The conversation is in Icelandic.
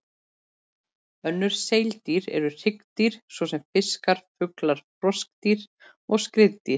Önnur seildýr eru hryggdýr, svo sem fiskar, fuglar, froskdýr og skriðdýr.